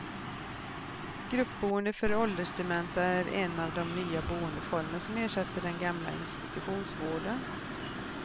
Gruppboende för åldersdementa är en av de nya boendeformer som ersätter den gamla institutionsvården.